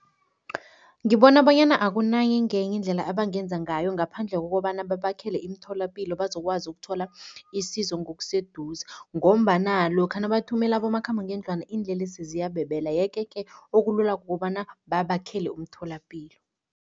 Ngibona bonyana akunangenye indlela ebangenza ngayo ngaphandle kokobana babakhele imitholapilo bazokwazi ukuthola isizo ngokuseduze ngombana lokha nabathumele abomakhambangendlwana iinlelesi ziyabebela yeke-ke okulula kukobana babakhele umtholapilo.